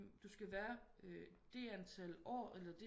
Du skal være det antal år eller